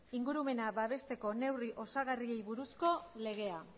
ingurumena babesteko neurri osagarriei buruzko legea